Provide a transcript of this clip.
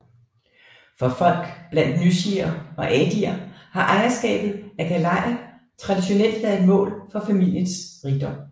For folk blandt nyishier og adier har ejerskabet af gayaler traditionelt været et mål for familiernes rigdom